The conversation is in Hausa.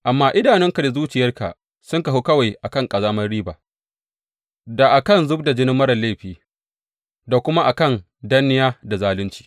Amma idanunka da zuciyarka sun kahu kawai a kan ƙazamar riba, da a kan zub da jinin marar laifi da kuma a kan danniya da zalunci.